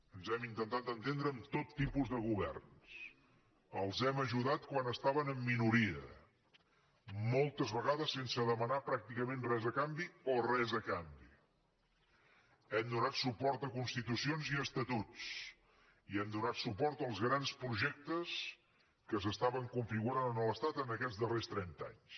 ens hem intentat entendre amb tot tipus de governs els hem ajudat quan estaven en minoria moltes vegades sense demanar pràcticament res a canvi o res a canvi hem donat suport a constitucions i a estatuts i hem donat suport als grans projectes que s’estaven configurant a l’estat en aquests darrers trenta anys